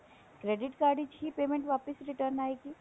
credit card ਵਿੱਚ ਹੀ payment ਵਾਪਿਸ return ਆਏਗੀ